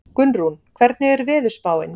Gunnrún, hvernig er veðurspáin?